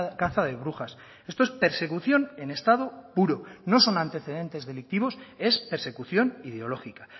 caza de brujas esto es persecución en estado puro no son antecedentes delictivos es persecución ideológica